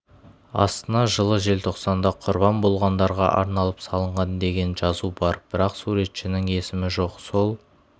астына жылы желтоқсанда құрбан болғандарға арналып салынған деген жазу бар бірақ суретшінің есімі жоқ сол